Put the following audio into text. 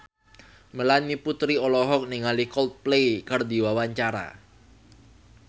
Melanie Putri olohok ningali Coldplay keur diwawancara